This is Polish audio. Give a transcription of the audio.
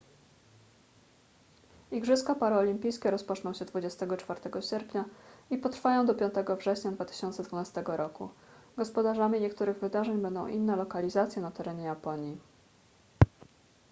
igrzyska paraolimpijskie rozpoczną się 24 sierpnia i potrwają do 5 września 2012 roku gospodarzami niektórych wydarzeń będą inne lokalizacje na terenie japonii